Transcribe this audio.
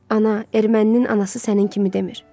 Ana, erməninin anası sənin kimi demir.